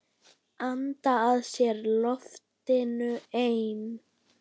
Anda að sér loftinu ein.